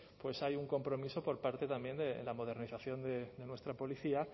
hay un compromiso por parte también de la modernización de nuestra policía